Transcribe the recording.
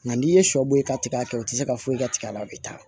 Nka n'i ye sɔ bɔ yen ka tigɛ o tɛ se ka foyi ka tigɛ a la a bɛ taa